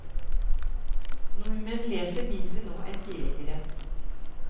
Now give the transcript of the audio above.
Nordmenn leser mindre nå enn tidligere.